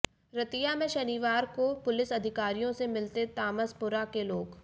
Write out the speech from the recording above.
रतिया में शनिवार को पुलिस अधिकारियों से मिलते तामसपुरा के लोग